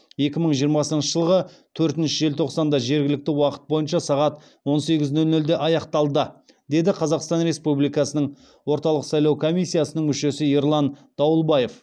екі мың жиырмасыншы жылғы төртінші желтоқсанда жергілікті уақыт бойынша сағат он сегіз нөл нөлде аяқталды деді қазақстан республикасының орталық сайлау комиссиясының мүшесі ерлан дауылбаев